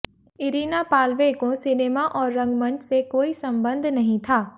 Irina Pavlenko cinema और रंगमंच से कोई संबंध नहीं था